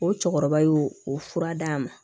O cɛkɔrɔba y'o o fura d'a ma